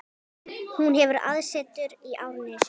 Hún hefur aðsetur í Árnesi.